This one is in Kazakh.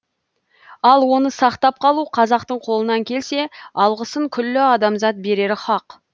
ал оны сақтап қалу қазақтың қолынан келсе алғысын күллі адамзат берері хақ